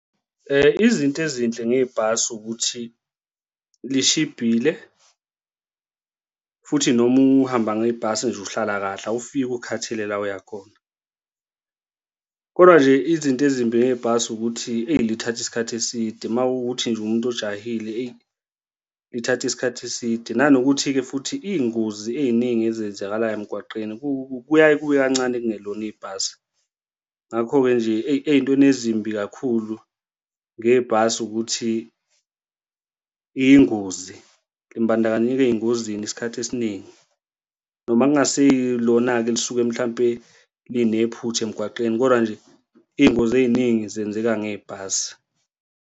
Izinto ezinhle ngebhasi ukuthi lishibhile, futhi noma uhamba ngebhasi nje, uhlala kahle awufiki ukhathele la oya khona kodwa nje izinto ezimbi ngebhasi ukuthi, eyi lithatha isikhathi eside makuwukuthi nje uwumuntu ujahile, eyi lithatha isikhathi eside, nanokuthi-ke futhi iy'ngozi ey'ningi ezenzakalayo emgwaqeni kuya kube kancane kungalona ibhasi. Ngakho-ke nje ey'ntweni ezimbi kakhulu ngebhasi ukuthi iyingozi limbandakanyeka ey'ngozini isikhathi esiningi noma kungasilona-ke elisuke mhlampe linephutha emgwaqeni, koda nje iy'ngozi ey'ningi zenzeka ngebhasi.